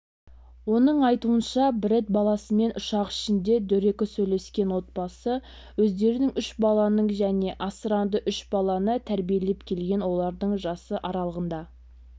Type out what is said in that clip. оның айтуынша брэд баласымен ұшақ ішінде дөрекі сөйлескен отбасы өздерінің үш баласын және асыранды үш баланы тәрбиелеп келген олардың жасы аралығында